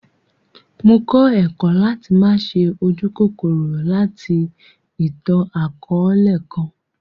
Mó kọ ẹkọ̀ lati ma ṣe ójukòkòrò lati ìtan-àkọọlẹ kan.